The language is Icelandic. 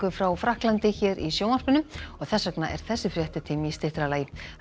frá Frakklandi hér í sjónvarpinu og þess vegna er þessi fréttatími í styttra lagi